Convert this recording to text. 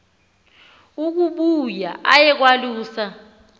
ukuba aye kwalusa